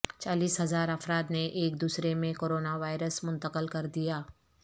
چالیس ہزار افراد نے ایک دوسرے میںکورونا وائرس منتقل کردیا